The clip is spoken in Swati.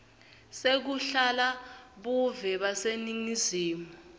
sekulahla buve baseningizimu